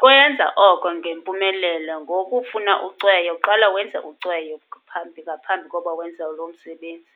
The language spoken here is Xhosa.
Kwenza oko ngempumelelo ngokufuna ucweyo. Qala wenze ucweyo phambi, ngaphambi kokuba wenze lo msebenzi.